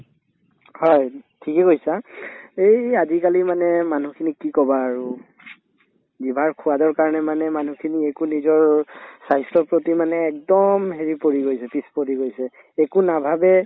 হয়, ঠিকে কৈছা এই আজিকালি মানে মানুহখিনিক কি কবা আৰু জিভাৰ সোৱাদৰ কাৰণে মানে মানুহখিনি একো নিজৰ স্বাস্থ্যৰ প্ৰতি মানে একদম হেৰি পৰি গৈছে পিছ পৰি গৈছে একো নাভাবে